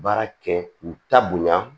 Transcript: Baara kɛ k'u ta bonya